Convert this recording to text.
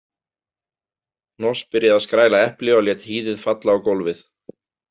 Hnoss byrjaði að skræla epli og lét hýðið falla á gólfið.